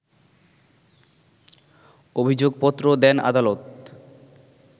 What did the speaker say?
অভিযোগপত্র দেন আদালত